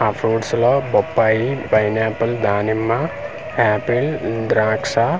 ఆ ఫ్రూట్స్ లో బొప్పాయి పైనాపిల్ దానిమ్మ ఆపిల్ ద్రాక్ష .